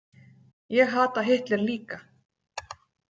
Ég hata Hitler líka!